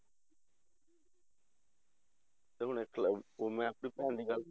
ਤੇ ਹੁਣ ਇੱਕ ਅਹ ਹੁਣ ਮੈਂ ਆਪਣੀ ਭੈਣ ਦੀ ਗੱਲ